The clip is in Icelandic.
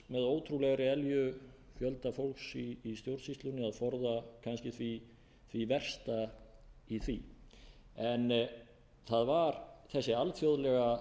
ótrúlegri elju fjölda fólks í stjórnsýslunni að forða kannski því versta í því en það var þessi alþjóðlega